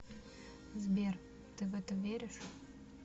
сбер ты в это веришь